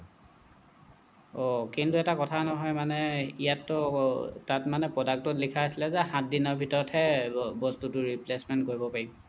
অহ্‌ কিন্তু এটা কথা নহ'য় মানে ইয়াত টো তাত মানে product ত লিখা আছিলে যে সাত দিনৰ ভিতৰত হে এৰ বস্তুটো replacement কৰিব পাৰিব